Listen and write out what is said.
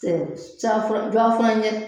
E can fɔ jɔn fɛnɛ ye